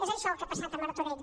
és això el que ha passat a martorell